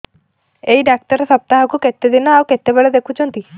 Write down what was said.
ଏଇ ଡ଼ାକ୍ତର ସପ୍ତାହକୁ କେତେଦିନ ଆଉ କେତେବେଳେ ଦେଖୁଛନ୍ତି